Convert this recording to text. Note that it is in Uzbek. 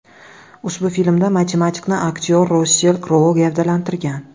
Ushbu filmda matematikni aktyor Rassel Krou gavdalantirgan.